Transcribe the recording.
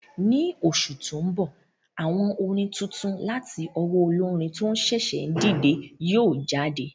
Ni oṣù tó mbọ̀, àwo orin tuntun láti owó olórin tó ṣẹ̀ṣẹ̀ ń dìde yóò jáde